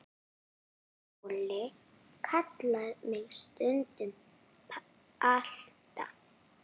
Óli kallar mig stundum Balta